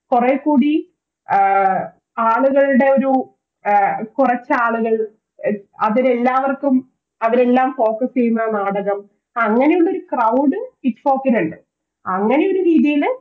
കൊറേ കൂടി ആഹ് ആളുകളുടെയൊരു കുറച്ചാളുകൾ അവരെല്ലാവർക്കും അവരെല്ലാം Closeup ചെയ്യുന്ന നാടകം അങ്ങനെയുള്ളൊരു CrowedITFOK ൽ ഇണ്ട് അങ്ങനെയൊരു രീതില്